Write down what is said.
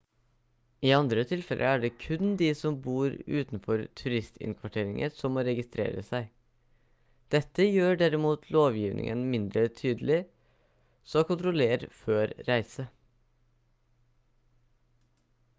i andre tilfeller er det kun de som bor utenfor turistinnkvarteringer som må registrere seg dette gjør derimot lovgivingen mindre tydelig så kontroller før reise